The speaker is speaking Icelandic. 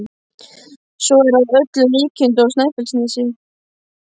Svo er að öllum líkindum á Snæfellsnesi.